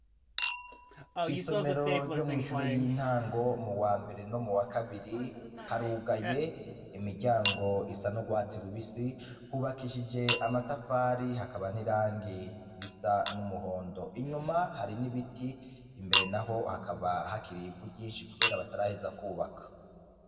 Isomero ryo mw'ishure y'intango muwa mbere no muwa kabiri harugaye imiryango isa n'urwatsi rubisi, hubakishije amatafari hakaba n'irangi risa n'umuhondo, inyuma hari n'ibiti imbere naho hakaba hakiri ivu ryinshi kubera bataraheza kubaka.